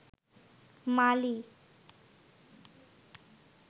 মালি